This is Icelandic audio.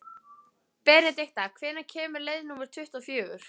Benedikta, hvenær kemur leið númer tuttugu og fjögur?